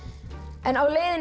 en á leiðinni